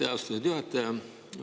Aitäh, austatud juhataja!